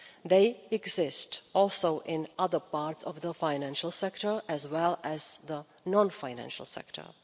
They exist also in other parts of the financial sector, as well as the non financial sector.